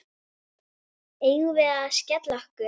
Eigum við að skella okkur?